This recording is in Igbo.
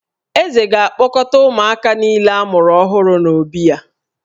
Eze ga-akpọkọta ụmụaka niile a mụrụ ọhụrụ n’obí ya